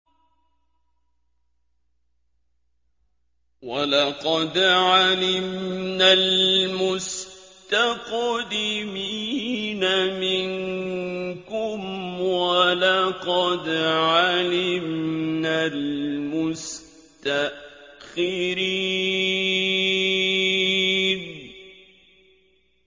وَلَقَدْ عَلِمْنَا الْمُسْتَقْدِمِينَ مِنكُمْ وَلَقَدْ عَلِمْنَا الْمُسْتَأْخِرِينَ